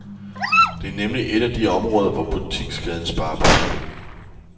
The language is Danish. Det er nemlig et af de områder, hvor butikskæden sparer penge.